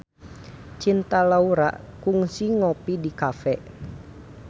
Cinta Laura kungsi ngopi di cafe